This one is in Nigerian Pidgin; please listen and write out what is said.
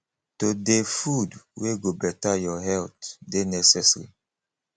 to dey food wey go beta your healt dey necessary